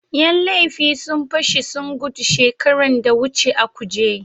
Yan laifi sun pashi sun gudu shekaran da wuce a kuje.